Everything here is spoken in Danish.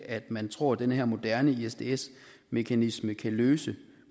at man tror at den her moderne isds mekanisme kan løse